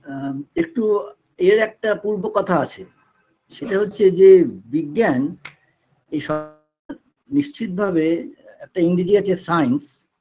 আ একটু এর একটা পূর্ব কথা আছে সেটা হচ্ছে যে বিজ্ঞান এই নিশ্চিত ভাবে একটা ইংরেজি আছে science